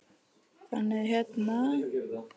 Þannig að hérna.